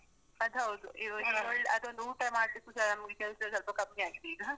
ಅದ್ ಹೌದು, ಅದ್ ಒಂದು ಊಟ ಮಾಡ್ಲಿಕ್ಕೂಸ ನಮ್ಗೆ ಕೆಲ್ಸ ಸ್ವಲ್ಪ ಕಮ್ಮಿ ಆಗಿದೆ ಈಗ.